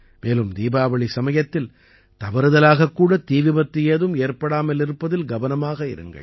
மேலும் தீபாவளி சமயத்தில் தவறுதலாகக் கூட தீ விபத்து ஏதும் ஏற்படாமல் இருப்பதில் கவனமாக இருங்கள்